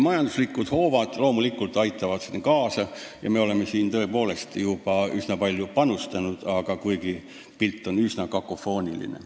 Majanduslikud hoovad aitavad siin loomulikult kaasa ja me oleme neisse tõepoolest juba üsna palju panustanud, kuigi pilt on üsna kakofooniline.